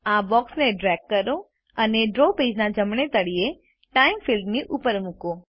આ બોક્સને ડ્રેગ કરો અને ડ્રો પેજના જમણે તળીયે ટાઇમ ફિલ્ડ ની ઉપર મૂકો